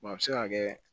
a bɛ se ka kɛ